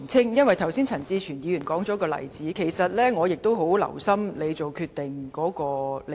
由於剛才陳志全議員提出一個例子，而我十分留心主席作決定的理據。